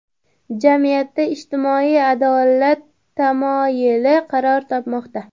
Jamiyatda ijtimoiy adolat tamoyili qaror topmoqda.